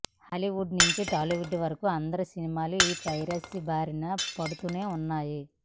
Hollywood నుండి టాలీవుడ్ వరకు అందరి సినిమాలు ఈ పైరసీ బారిన పడుతూనే ఉన్నాయి